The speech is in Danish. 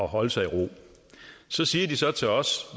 holde sig ro så siger de så til os